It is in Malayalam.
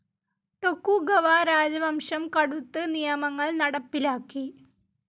ടൊകുഗവ രാജവംശം കടുത്ത് നിയമങ്ങൾ നടപ്പിലാക്കി.